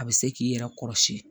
A bɛ se k'i yɛrɛ kɔrɔsi